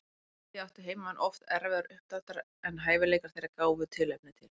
Því áttu heimamenn oft erfiðara uppdráttar en hæfileikar þeirra gáfu tilefni til.